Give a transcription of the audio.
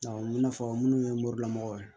Awɔ i n'a fɔ minnu ye morimɔgɔw ye